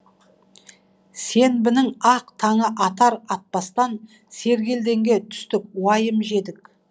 сенбінің ақ таңы атар атпастан сергелдеңге түстік уайым жедік